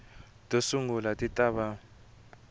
to sungula ti ta va